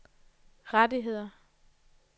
rettigheder